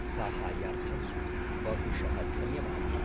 साहाय्यार्थं बहुशः धन्यवादः।